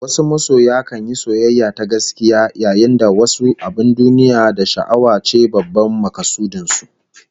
Wasu masoya kan yi soyayya ta gaskiya, yayin da wasu abin duniya da sha'awa ce babban makasudin su